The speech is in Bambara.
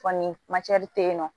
Kɔni te yen nɔ